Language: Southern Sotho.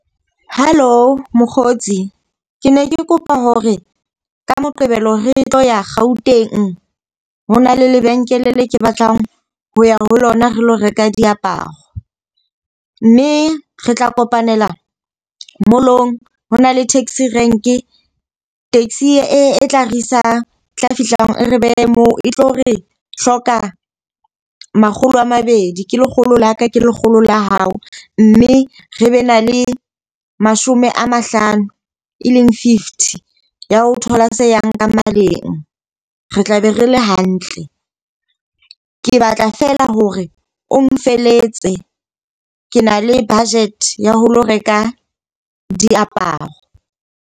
Halo mokgotsi, ke ne ke kopa hore ka Moqebelo re tlo ya Gauteng. Ho na le lebenkele le ke batlang ho ya ho lona re lo reka diaparo. Mme re tla kopanela mall-ong. Hona le taxi rank, taxi e tla re isang tla fihla e re behe moo e tlo re hloka makgolo a mabedi ke lekgolo la ka, le lekgolo la hao. Mme re be na le mashome a mahlano, e leng fifty ya ho thola se yang ka maleng. Re tlabe re le hantle, ke batla feela hore o nfelletse ke na le budget ya ho lo reka diaparo.